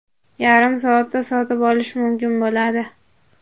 yarim soatda sotib olishi mumkin bo‘ladi.